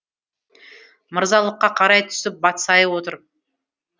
мырзалыққа қарай түсіп батсайы отыр